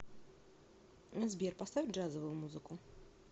сбер поставь джазовую музыку